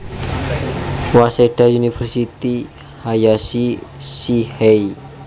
Waseda University — Hayashi Shihei